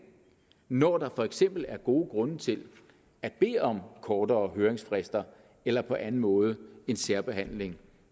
når der for eksempel er gode grunde til at bede om kortere høringsfrister eller på anden måde en særbehandling